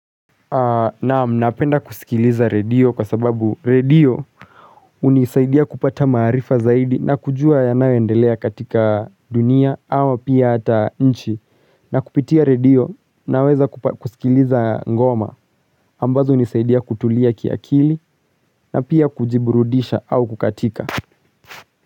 Naam napenda kusikiliza radio kwa sababu radio hunisaidia kupata maarifa zaidi na kujua yanayoendelea katika dunia ama pia hata nchi, na kupitia radio naweza kusikiliza ngoma ambazo hunisaidia kutulia kiakili na pia kujiburudisha au kukatika.